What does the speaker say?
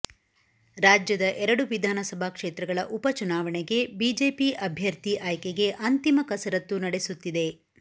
ರಾಜ್ಯದ ಎರಡು ವಿಧಾನಸಭಾ ಕ್ಷೇತ್ರಗಳ ಉಪಚುನಾವಣೆಗೆ ಬಿಜೆಪಿ ಅಭ್ಯರ್ಥಿ ಆಯ್ಕೆಗೆ ಅಂತಿಮ ಕಸರತ್ತು ನಡೆಸುತ್ತಿದೆ